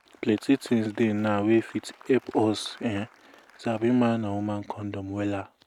plenty tins dey now wey fit epp us[um]sabi man and woman condom wella